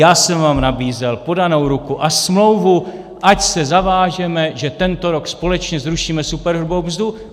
Já jsem vám nabízel podanou ruku a smlouvu, ať se zavážeme, že tento rok společně zrušíme superhrubou mzdu.